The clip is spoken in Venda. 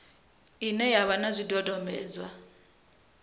ine ya vha na zwidodombedzwa